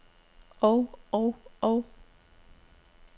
og og og